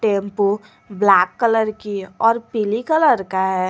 Tempo black colour की और पीली कलर का है।